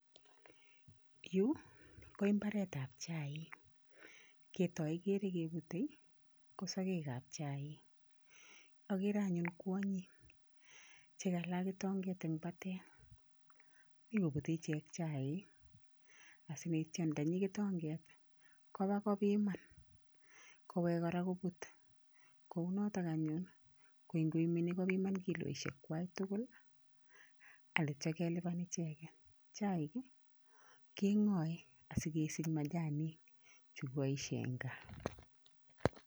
Yu ko imbaretap chaik. Ketoikere kepute, ko sogekap chaik. Akere anyun kwonyik chekala kitonget eng batet. Mi kobute ichek chaik asikoityam ndanyi kitonket kopa kopiman kowek kora koput. Ko u noto anyun, koi nkoimeni kopiman kiloishekwai tukul alityakelipan icheket. Chaik, keng'oe asikesich majanik chukipoishe eng gaa.